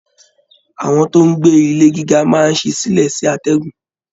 Àwọn tó n gbé ilé gíga máa n sí sílẹ sí atẹgun.